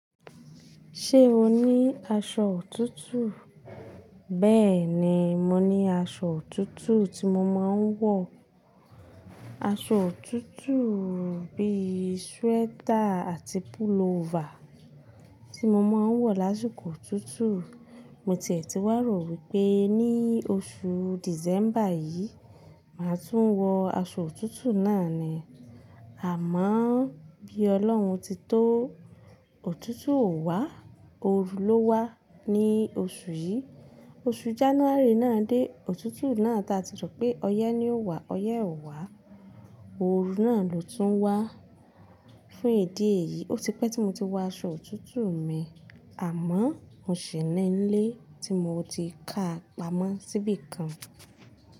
Ṣé o ní aṣọ òtútù? Bẹ́ẹ̀ni, mo ní aṣọ òtútù tí mo máa ń wọ̀. Aṣọ òtútù bí i sweater àti pullover tí mo máa ń wọ̀ lásìkò òtútù. Mo tiẹ̀ ti wàró wípé ní oṣù December yìí, màá tún wọ aṣọ òtútù náà ni. Àmọ́ bí Ọlọ́run ti tó, òtútù ò wá, ooru ló wá ní oṣù yìí. Oṣù January náà dé, òtútù náà tí a ti sọ pé ọyẹ́ ni ó wà, ọyẹ́ ò wá, ooru náà ló tún wá. Fún ìdí èyí, ó ti pẹ́ tí mo ti wọ aṣọ òtútù mi, àmọ́ mo sì nílé tí mo ti ká pamọ́ síbí kan.